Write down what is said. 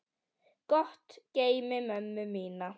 Gott geymi mömmu mína.